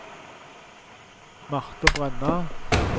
Marte Brenna